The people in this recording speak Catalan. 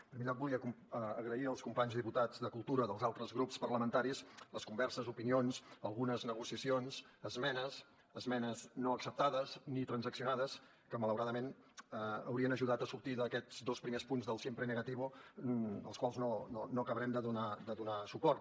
en primer lloc volia agrair als companys diputats de cultura dels altres grups parlamentaris les converses opinions algunes negociacions esmenes esmenes no acceptades ni transaccionades que malauradament haurien ajudat a sortir d’aquests dos primers punts del siempre negativo als quals no acabarem de donar suport